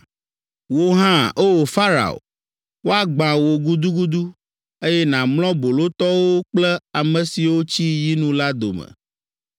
“Wò hã, O! Farao, woagbã wò gudugudu, eye nàmlɔ bolotɔwo kple ame siwo tsi yinu la dome.